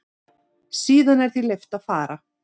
Síðan er því leyft að fara.